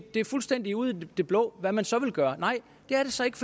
det er fuldstændig ude i det blå hvad man så vil gøre nej det er det så ikke